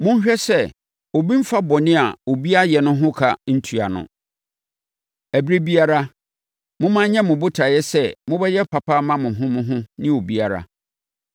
Monhwɛ sɛ obi mmfa bɔne a obi ayɛ no no ho ka ntua no. Ɛberɛ biara, momma ɛnyɛ mo botaeɛ sɛ mobɛyɛ papa ama mo ho mo ho ne obiara.